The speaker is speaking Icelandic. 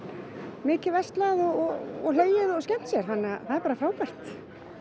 mikið verslað og hlegið og skemmt sér það er bara frábært